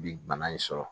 Bi bana in sɔrɔ